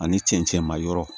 Ani cɛncɛn ma yɔrɔ